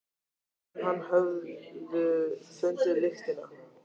Fleiri en hann höfðu fundið lyktina.